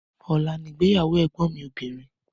Ọla ni ìgbéyàwó ẹgbọn mi obìnrin